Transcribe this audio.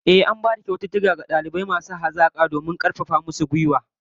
Ehh, an bayar da kyaututtuka ga dalibai hazikai domin karfafa musu gwiwa